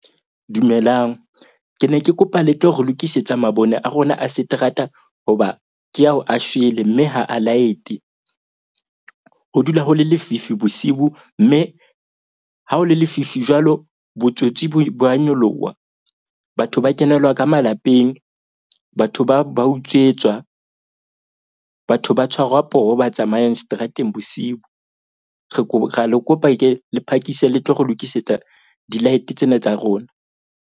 Dumelang, ke ne ke kopa le tlo re lokisetsa mabone a rona a seterata. Hoba ke ao a shwele mme ha a light-e. Ho dula ho le lefifi bosibu mme ha o le lefifi jwalo. Botsotsi bo a nyoloha. Batho ba kenelwa ka malapeng batho ba utsetswa. Batho ba tshwarwa poho ba tsamayang seterateng bosiu. Re ra le kopa ke le phakise le tlo re lokisetsa di-light tsena tsa rona.